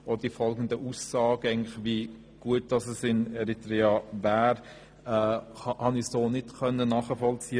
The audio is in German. Auch die folgenden Aussagen, wie gut es in Eritrea wäre, konnte ich nicht nachvollziehen.